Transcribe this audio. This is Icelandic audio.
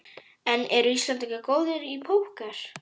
En eru Íslendingar góðir í Póker?